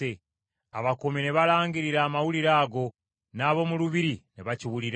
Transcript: Abakuumi ne balangirira amawulire ago, n’ab’omu lubiri ne bakiwulira.